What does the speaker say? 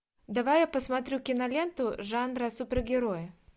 давай я посмотрю киноленту жанра супергерои